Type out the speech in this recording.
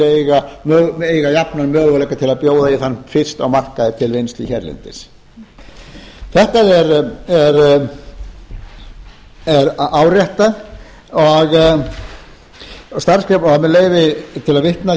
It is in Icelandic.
eiga jafna möguleika til að bjóða í þann fisk á markaði til vinnslu hérlendis þetta er áréttað og til að vitna